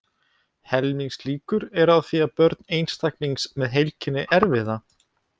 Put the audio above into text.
Helmingslíkur eru á því að börn einstaklings með heilkennið erfi það.